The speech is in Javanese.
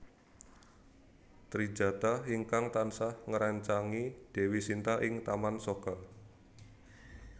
Trijatha ingkang tansah ngréncangi Dewi Shinta ing Taman Soka